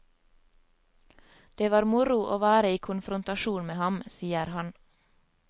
Det var moro å være i konfrontasjon med ham, sier han.